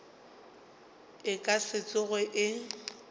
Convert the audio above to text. e ka se tsoge e